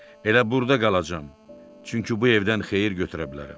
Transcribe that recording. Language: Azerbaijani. Elə burda qalacam, çünki bu evdən xeyir götürə bilərəm.